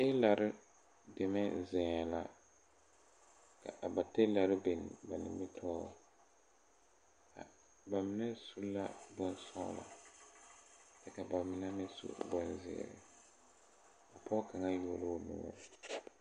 Tiilare deme zeŋɛɛ la ka a ba tiilare biŋ ba nimitoore ba mine su la bonsɔglɔ kyɛ ka ba mine meŋ su bonzeere a pɔɔ kaŋa yuo loo noɔre.